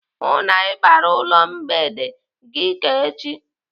Hụụ na Ị bịara ụlọ mgbede gị ka echi!